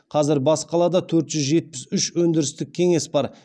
қазір бас қалада төрт жүз жетпіс үш өндірістік кеңес бар